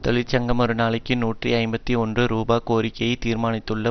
தொழிற்சங்கம் ஒரு நாளைக்கு நூற்றி ஐம்பத்தி ஒன்று ரூபா கோரிக்கையை தீர்மானித்துள்ள